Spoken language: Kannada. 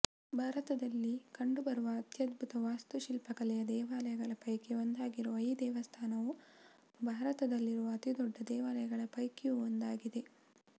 ಭಾರತದಲ್ಲಿ ಕಂಡುಬರುವ ಅತ್ಯದ್ಭುತ ವಾಸ್ತುಶಿಲ್ಪಕಲೆಯ ದೇವಾಲಯಗಳ ಪೈಕಿ ಒಂದಾಗಿರುವ ಈ ದೇವಸ್ಥಾನವು ಭಾರತದಲ್ಲಿರುವ ಅತಿ ದೊಡ್ಡ ದೇವಾಲಯಗಳ ಪೈಕಿಯೂ ಒಂದಾಗಿದೆ